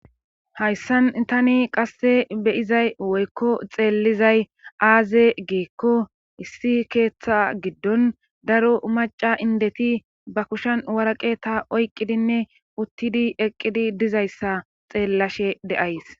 hayssan tani qasse beyizay woykko xeellizay aaze giikko issi keeththa giddon daro maca indeti ba kushan waraqe ta oyqqidinne uttidi eqqidi dizayssa xeellashe de7ays